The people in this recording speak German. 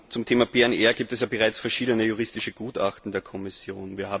Zum Thema PNR gibt es ja bereits verschiedene juristische Gutachten der Kommission.